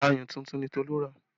Ayùn tuntun ni Tolu rà